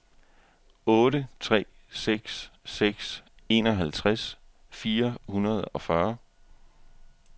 otte tre seks seks enoghalvtreds fire hundrede og fyrre